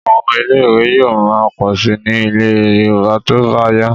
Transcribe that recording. Àwọn ilé-ìwé yóò máa pọ̀ síi ní ilẹ̀ Yorùbá tó bá yá.